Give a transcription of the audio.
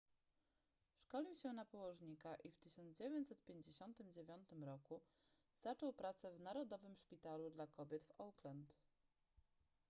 szkolił się na położnika i w 1959 roku zaczął pracę w narodowym szpitalu dla kobiet w auckland